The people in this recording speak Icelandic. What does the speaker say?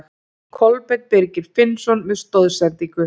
Kolbeinn Birgir Finnsson með stoðsendingu.